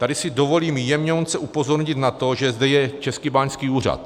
Tady si dovolím jemňounce upozornit na to, že zde je Český báňský úřad.